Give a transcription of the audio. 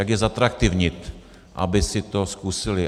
Jak je zatraktivnit, aby si to zkusili.